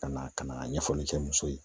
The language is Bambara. Ka na ka na ɲɛfɔli kɛ muso ye